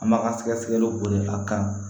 An b'a ka sɛgɛsɛgɛliw wele a kan